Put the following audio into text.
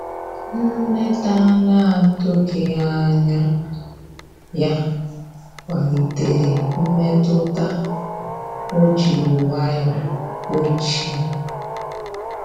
Nleta anatughi anya ya kwalite mmetụta o jiri nwayo kpochie.